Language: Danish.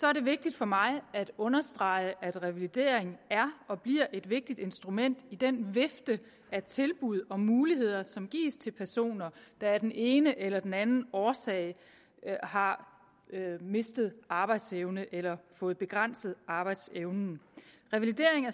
er det vigtigt for mig at understrege at revalidering er og bliver et vigtigt instrument i den vifte af tilbud og muligheder som gives til personer der af den ene eller den anden årsag har mistet arbejdsevnen eller fået begrænset arbejdsevnen revalideringen